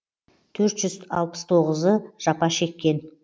төрт жүз алпыс тоғызы жапа шеккен